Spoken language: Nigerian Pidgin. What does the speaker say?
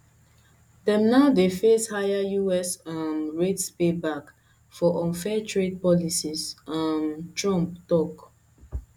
dem now dey face higher us um rates payback for unfair trade policies um trump tok